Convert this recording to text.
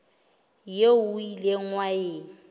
eo o ileng wa e